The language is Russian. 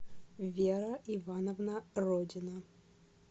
вера ивановна родина